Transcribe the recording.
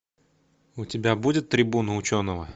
у тебя будет трибуна ученого